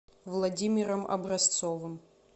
владимиром образцовым